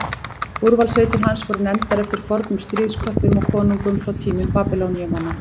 úrvalssveitir hans voru nefndar eftir fornum stríðsköppum og konungum frá tímum babýloníumanna